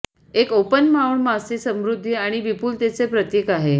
एक ओपन माउड मासे समृद्धी आणि विपुलतेचे प्रतीक आहे